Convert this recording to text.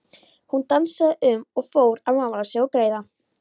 Hún dansaði um og fór að mála sig og greiða.